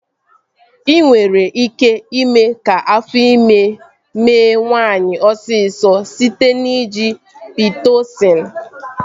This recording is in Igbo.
E nwere ike ime ka afọ ime mee nwaanyị osisọ site n'iji Pitosịn